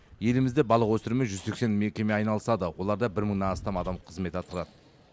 елімізде балық өсірумен жүз сексен мекеме айналысады оларда бір мыңнан астам адам қызмет атқарады